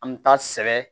An bɛ taa sɛbɛ